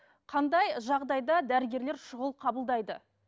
қандай жағдайда дәрігерлер шұғыл қабылдайды